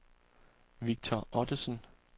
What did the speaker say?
Victor Ottesen